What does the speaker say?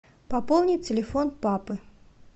пополнить телефон папы